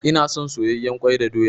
Ina son soyayyen kwai da doya.